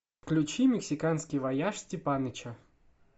включи мексиканский вояж степаныча